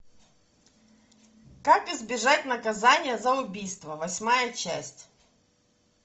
как избежать наказания за убийство восьмая часть